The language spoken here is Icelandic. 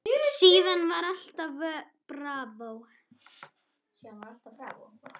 Síðan var allt bravó.